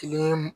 Tile